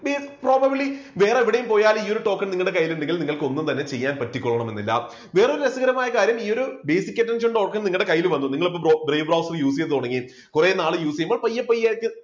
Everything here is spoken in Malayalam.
see probably വേറെ എവിടെപ്പോയാലും ഈ ഒരു ടോക്കൺ നിങ്ങളുടെ കയ്യിൽ ഉണ്ടെങ്കിൽ നിങ്ങൾക്ക് ഒന്നും തന്നെ ചെയ്യാൻ പറ്റി കൊള്ളണമെന്നില്ല. വേറൊരു രസകരമായ കാര്യം ഈ ഒരു basic attention token നിങ്ങളുടെ കയ്യിൽ വന്നു നിങ്ങൾ അപ്പോൾ brave browser use ചെയ്തു തുടങ്ങി കുറെനാൾ use ചെയ്യുമ്പോൾ പയ്യെ പയ്യെ ഒക്കെ